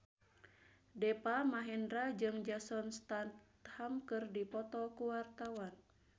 Deva Mahendra jeung Jason Statham keur dipoto ku wartawan